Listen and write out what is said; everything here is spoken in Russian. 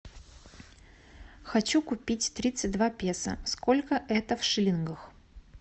хочу купить тридцать два песо сколько это в шиллингах